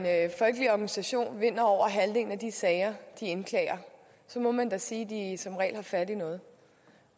folkelig organisation vinder over halvdelen af de sager de indklager må man da sige at de som regel har fat i noget